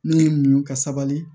Ne ye muɲu ka sabali